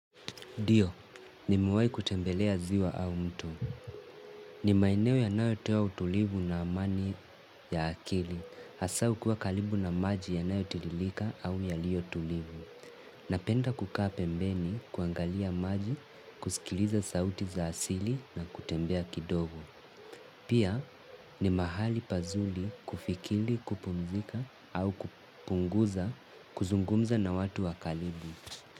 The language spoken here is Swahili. Ndiyo, nimewahi kutembelea ziwa au mto. Ni maeneo yanayotoa utulivu na amani ya akili. Hasa ukiwa karibu na maji yanayotiririka au yaliyotulivu. Napenda kukaa pembeni kuangalia maji, kusikiliza sauti za asili na kutembea kidogo. Pia ni mahali pazuri kufikiri, kupumzika au kupunguza kuzungumza na watu wa karibu.